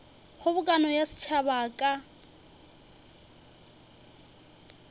kgobokano ya setšhaba a ka